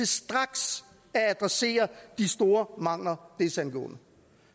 straks at adressere de store mangler desangående